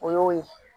O y'o ye